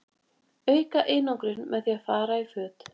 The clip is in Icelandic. auka einangrun með því að fara í föt